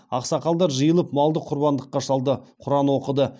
ақсақалдар жиылып малды құрбандыққа шалды құран оқыды